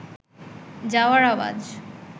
যাওয়ার আওয়াজ